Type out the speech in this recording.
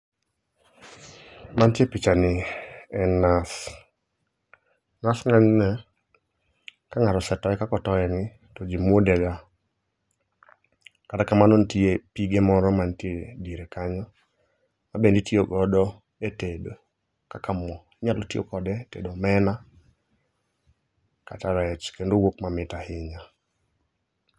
Mantie e pichani en nas. Nas ng'enyne ka ng'ato osetoye kaka otoyeni to ji mwodega. Kata kamano nitie pige moro mantie e diere kanyo ma bende itiyogo e tedo kaka mo. Inyalo tiyogodo e tedo omena kata rech kendo wuok mamit ahinya.